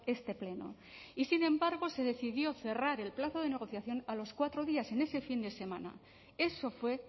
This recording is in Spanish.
este pleno y sin embargo se decidió cerrar el plazo de negociación a los cuatro días en este fin de semana eso fue